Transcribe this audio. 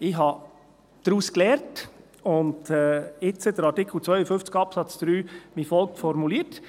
Ich habe daraus gelernt und jetzt Artikel 52 Absatz 3 wie folgt formuliert: